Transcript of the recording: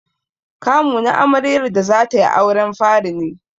Kamu na amaryar da zatai auren fari ne.